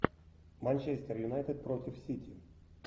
манчестер юнайтед против сити